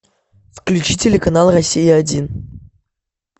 включи телеканал россия один